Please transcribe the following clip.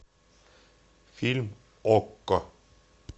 фильм окко